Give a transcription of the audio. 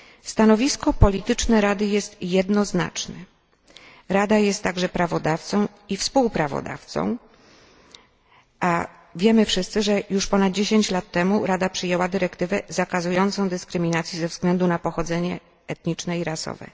Stanowisko polityczne Rady jest jednoznaczne, Rada jest także prawodawcą i współprawodawcą, a wiemy wszyscy, że już ponad 10 lat temu Rada przyjęła dyrektywę zakazującą dyskryminacji ze względu na pochodzenie etniczne i rasowe.